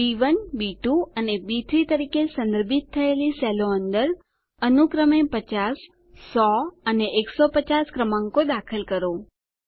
બી1 B two અને બી3 તરીકે સંદર્ભિત થયેલી સેલો અંદર અનુક્રમે 50100 અને 150 ક્રમાંકો દાખલ કરો